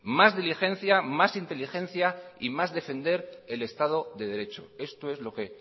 más diligencia más inteligencia y más defender el estado de derecho esto es lo que